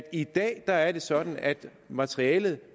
i dag er sådan at materialet